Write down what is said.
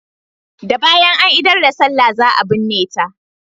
Da bayan an idar da sallah za a binne ta.